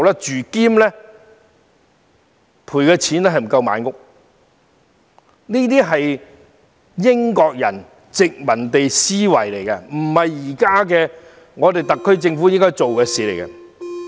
這是英國人的殖民地思維，不是特區政府現時應做的事情。